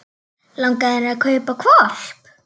Langar þig að kaupa hvolp?